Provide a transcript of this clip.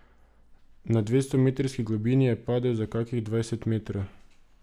Na dvestometrski globini je padel za kakih dvajset metrov.